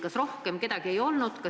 Kas rohkem kedagi ei olnud?